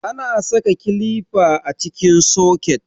Ana saka kilifa a cikin soket.